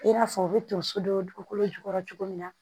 I n'a fɔ u bɛ tonso don dugukolo jukɔrɔ cogo min na